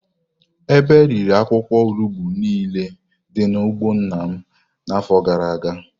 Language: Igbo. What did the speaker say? Ebe riri akwụkwọ olugbu nile dị n'ugbo nna m n'afọ gara aga.